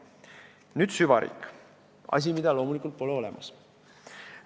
Nüüd süvariik – asi, mida loomulikult pole olemas.